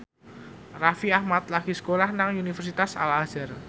Raffi Ahmad lagi sekolah nang Universitas Al Azhar